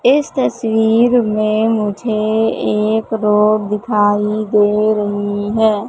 इस तस्वीर में मुझे एक रोड दिखाई दे रही है।